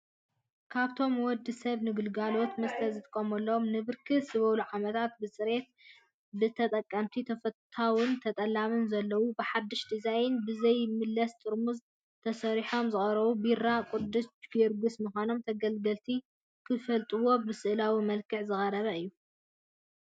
ካብቶም ወደሰብ ን ግልጋሎት መስተ ዝጥቀመሎም ንብርክት ዝበሉ ዓመታት ብፅሬቱ ብተጠቀምቲ ተፈታውን ጠለብ ዘለዎን ብሓዱሽ ዲዛይን ብዘይምለስ ጥርሙዝ ተሰሪሑ ዝቐረበ ቢራ ቅዱስ ጊዮርጊስ ምዃኑ ተገልገልቲ ክፈልጥዎ ብስእላዊ መልክዕ ዝቐረበ እዩ።